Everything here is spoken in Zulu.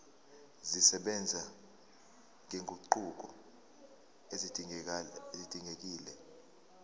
zisebenza nezinguquko ezidingekile